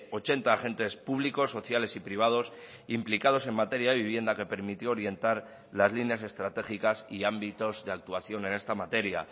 ochenta agentes públicos sociales y privados implicados en materia de vivienda que permitió orientar las líneas estratégicas y ámbitos de actuación en esta materia